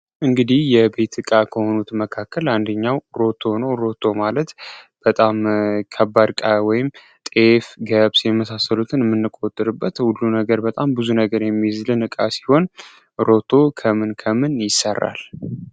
እንግዲህ የቤት እቃ ከሆኑት መካከል አንድኛው ሮቶ ሮቶ ማለት በጣም ከባድ ወይም ጤፍ ገብስ የመሳሰሉትን ምንቆጥርበት ሁሉ ነገር በጣም ብዙ ነገር የሚዝል እቃ ሲሆን ሮቶ ከምን ከምን ይሰራል?